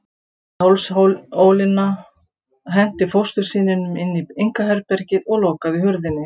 Hann þreif í hálsólina, henti fóstursyninum inn í einkaherbergið og lokaði hurðinni.